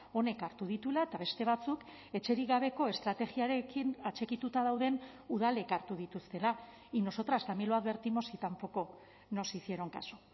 honek hartu dituela eta beste batzuk etxerik gabeko estrategiarekin atxikituta dauden udalek hartu dituztela y nosotras también lo advertimos y tampoco nos hicieron caso